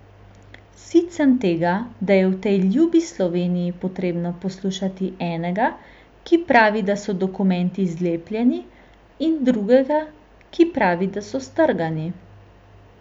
Sit sem tega, da je v tej ljubi Sloveniji potrebno poslušati enega, ki pravi, da so dokumenti zlepljeni, in drugega ki pravi, da so strgani.